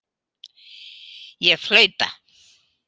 Ég flauta.